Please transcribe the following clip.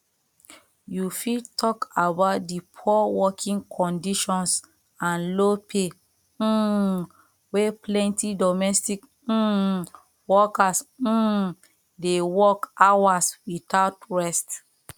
you fit talk about di poor working conditions and low pay um wey plenty domestic um workers um dey work hours without rest